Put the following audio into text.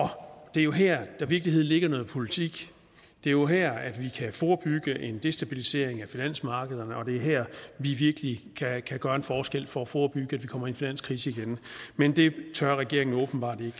det er jo her der i virkeligheden ligger noget politik det er jo her vi kan forebygge en destabilisering af finansmarkederne og det er her vi virkelig kan kan gøre en forskel for at forebygge at vi kommer i en finanskrise igen men det tør regeringen åbenbart ikke